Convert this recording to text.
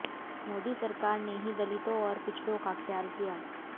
मोदी सरकार ने ही दलितों और पिछड़ों का ख्याल किया